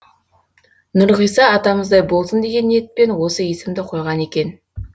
нұрғиса атамыздай болсын деген ниетпен осы есімді қойған екен